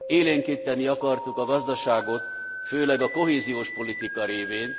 Élénkíteni akartuk a gazdaságot, főleg a kohéziós politika révén.